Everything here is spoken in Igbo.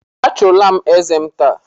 A chọula m eze m taa